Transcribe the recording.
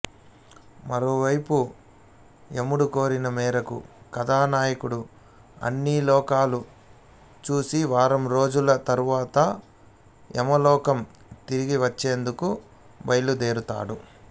మరోవైపు యముడి కోరిక మేరకు కథానాయకుడు అన్ని లోకాలూ చూసి వారంరోజుల తర్వాత యమలోకం తిరిగివచ్చేందుకు బయలుదేరతాడు